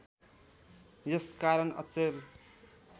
यस कारण अचेल